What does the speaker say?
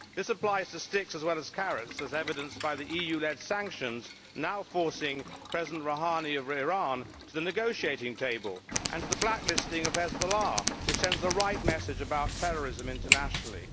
This applies to sticks as well as carrots, as evidenced by the EU led sanctions now forcing President Rouhani of Iran to the negotiating table, and to the blacklisting of Hezbollah, which sends the right message about terrorism internationally.